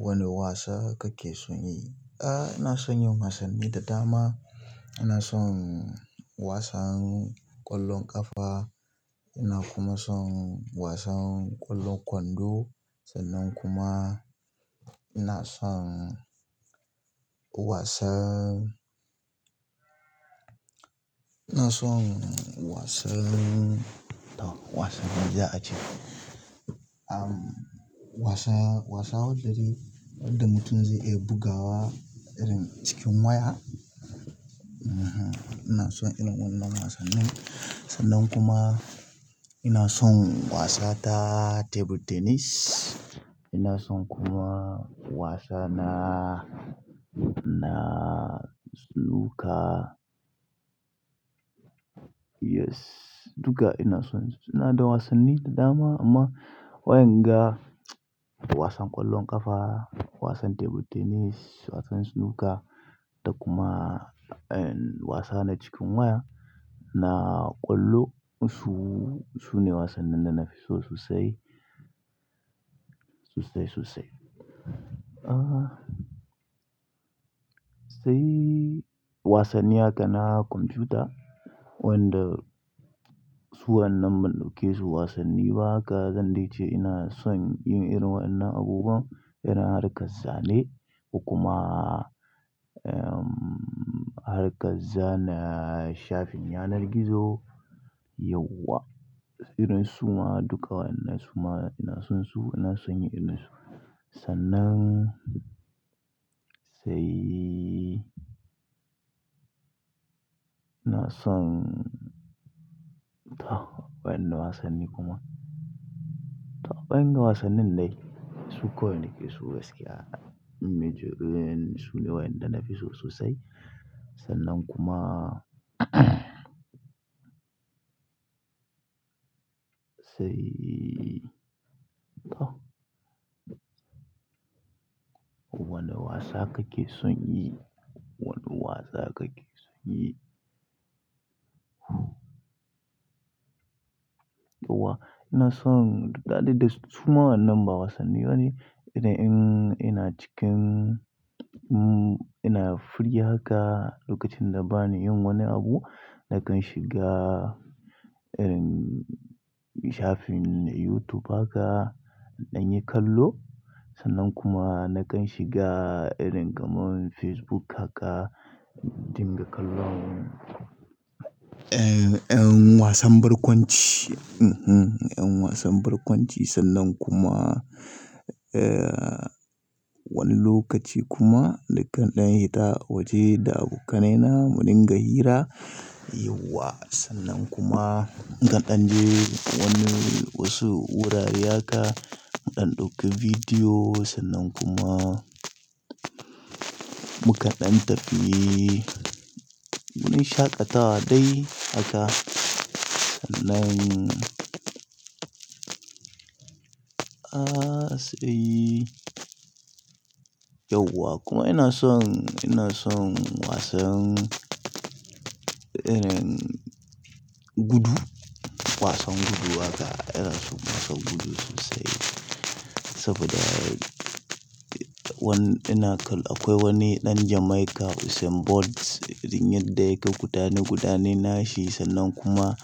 Wane wasa kake son yi? Eh, ina son yin wasanni da dama. Ina son wasan ƙwallon ƙafa, ina kuma son wasan ƙwallon kwando, sannan kuma ina son wasan, ina son wasan, to wasan me za a ce? Wasan, wasan wanda da mutum zai iya bugawa irin cikin waya. Ina son irin wannan wasannin. Sannan kuma ina son wasa ta table tennis. Ina son kuma wasa na, na snooker. Yes, duka ina son, ina don wasanni da dama amma wa inda wasan ƙwallon ƙafa, wasan table tennis, wasan snooker da kuma wasa na cikin waya na ƙwallo. Su, su ne wasannin da na fi so sosai. Sosai, sosai. Sai wasanni haka na kwamfuta wanda su wannan ban ɗauke su wasanni ba haka, zan dai ce ina son yin irin wannan abubuwan irin harkar zane kuma harkar zana, shafin yanar gizo. Yauwa, irin su ma duka wannan su ma ina son su, ina son yin irin su. Sannan sai i son, to wane wasanni kuma? To wainnan wasannin dai, su kwai nake so gaskiya. Mece su ne waɗanda na fi so sosai. Sannan kuma sai to wane wasa kake son yi? Wane wasa kake son yi? Yauwa, ina son haɗe da su ma wannan ba wasanni bane irin in ina cikin, ina free haka lokacin da bani yin wani abu nakan shiga irin shafin YouTube haka in ɗanyi kallo. Sannan kuma nakan shiga irin kamar Facebook haka in dinga kallon, eh, ɗan wasan barkwanci. Eh, ɗan wasan barkwanci sannan kuma, eh, wani lokaci kuma nakan ɗan hita waje da abokanaina mu dinga hira. Yauwa, sannan kuma nakan ɗan je wani wasu wurare haka mu ɗan ɗauki bidiyo sannan kuma mu kaɗan tafi. Mun shaƙatawa dai haka. Sannan, ah, sai yauwa kuma ina son, ina son wasan irin gudu. Wasan gudu haka ina son wasan gudu sosai saboda wani ina kalak akwai wani ɗan Jamaica Usain Bolt irin yadda yake gudanar gudane gudanashi sannan kuma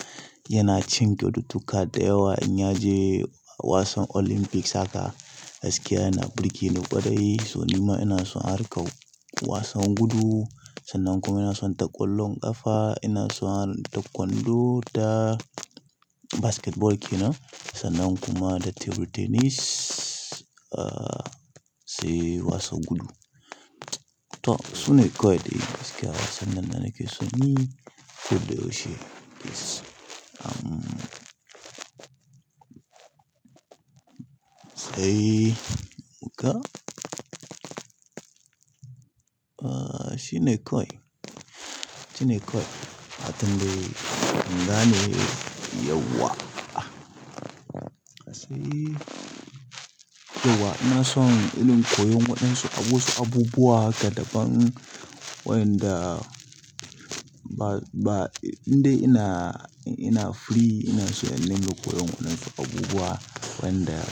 yana cin kyautu tukar da yawa in ya je wasan Olympics haka. Gaskiya yana burge ni ƙwarai, don ma ina son harkar wasan gudu. Sannan kuma ina son ta ƙwallon ƙafa, ina son ta kwando da basketball kenan. Sannan kuma da table tennis, ah, sai wasan gudu. To su ne kawai dai gaskiya wasannin da nake son yi. Ko da yaushe. Ah, sai muka. Ah, shi ne kawai. Shi ne kawai. Atande ingane yauwa. Ah, sai yauwa. Ina son in koyi waɗansu abubuwa haka daban wayanda ba, ba, indai ina, ina free ina shirin dinga koyon waɗansu abubuwa wayanda.